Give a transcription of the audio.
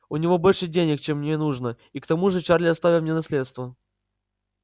у него больше денег чем мне нужно и к тому же чарли оставил мне наследство